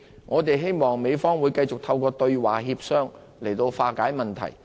我們希望美方會繼續透過對話協商來化解問題。